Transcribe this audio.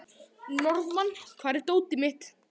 Norðmann, hvar er dótið mitt?